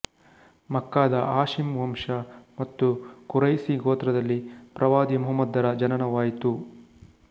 ಮಕ್ಕಾದ Hashim ವಂಶ ಮತ್ತು Quraishi ಗೋತ್ರದಲ್ಲಿ ಪ್ರವಾದಿ ಮುಹಮ್ಮದರ ಜನನವಾಯಿತು